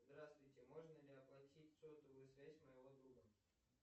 здравствуйте можно ли оплатить сотовую связь моего друга